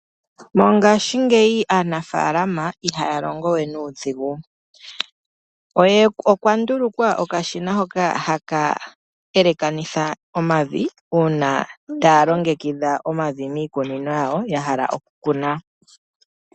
Mongaashingeyi aanafaalama iha longo we nuudhigu. Okwa ndulukwa okashina hoka ha ka elekanitha omavi uuna ta ya longekidha omavi miikuninino yawo, ya hala okukuna.